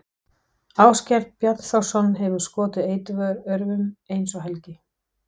Ásgeir Bjarnþórsson hefur skotið eiturörvum, eins og Helgi